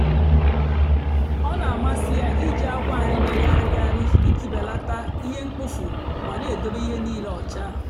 ọ na-àmasị́ ya ìjì àkwà a na-èmèghàrị̀ghàrị̀ ìjì bèlátà ihe mkpófu mà na-èdòbé ihe nílé ọ́cha.